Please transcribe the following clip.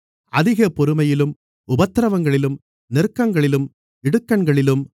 அதிக பொறுமையிலும் உபத்திரவங்களிலும் நெருக்கங்களிலும் இடுக்கண்களிலும்